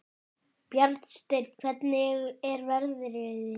Bjarnsteinn, hvernig er veðrið í dag?